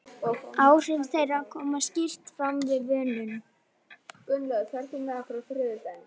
Áhrif þeirra koma skýrt fram við vönun.